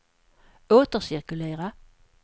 återcirkulera